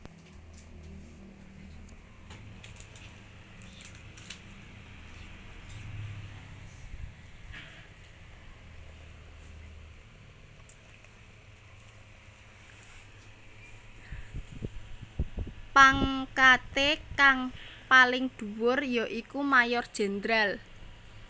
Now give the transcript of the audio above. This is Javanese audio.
Pangkaté kang paling dhuwur ya iku Mayor Jenderal